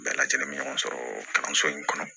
Bɛɛ lajɛlen bɛ ɲɔgɔn sɔrɔ kalanso in kɔnɔ